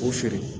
O feere